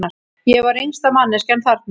Ég var yngsta manneskjan þarna.